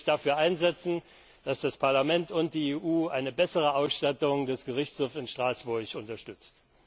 Würden Sie sich dafür einsetzen, dass das Parlament und die EU eine bessere Ausstattung des Gerichtshofs in Straßburg unterstützen?